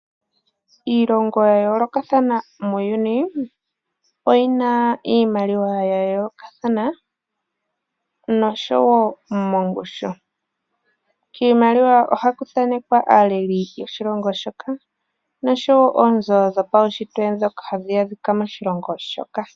Iilongo ya yoolokathana muuyuni oyina iimaliwa ya yoolokathana noshowo mongushu . Kiimaliwa ohaku thanekwa aaleli yoshilongo shoka noshowo oonzo dho paushitwe ndhoka hadhi adhika moshilongo shoka.